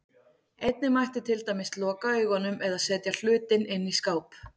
Einnig mætti til dæmis loka augunum, eða setja hlutinn inn í skáp.